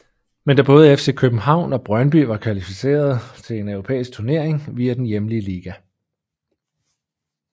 Men da både FC København og Brøndby var kvalificerede til en europæisk turnering via den hjemlige liga